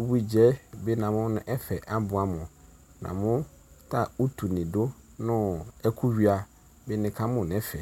ʋbuidzɛ bi namʋnʋ ɛfɛ abʋamʋ namʋ ta ʋtʋni dʋ nʋ ɛkʋ wuia bi nikamʋ nʋ ɛfɛ